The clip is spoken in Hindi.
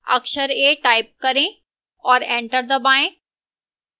अक्षर a type करें और enter दबाएं